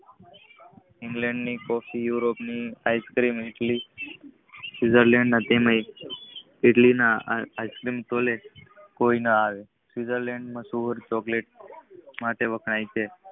England ની toffee Europe ની ice cream Switzerland તેમજ ઈટલીયુ ની ઈસેસિક્સહોલે કોઈના આવે સુઝર્લેન્ડ ચોકલેટ માટે વખણાય છે